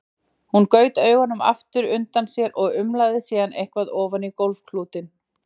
Hún gaut augunum aftur undan sér og umlaði síðan eitthvað ofan í gólfklútinn.